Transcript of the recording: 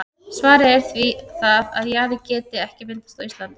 Svarið er því það, að jaði geti ekki myndast á Íslandi.